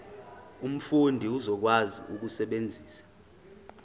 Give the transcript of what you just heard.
umfundi uzokwazi ukusebenzisa